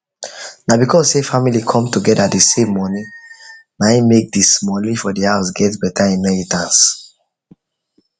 na because say family come together dey save money na him make the smallie for the house get better inheritance